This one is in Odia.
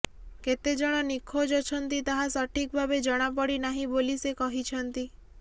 କେତେଜଣ ନିଖୋଜ ଅଛନ୍ତି ତାହା ସଠିକ୍ ଭାବେ ଜଣାପଡ଼ି ନାହିଁ ବୋଲି ସେ କହିଛନ୍ତି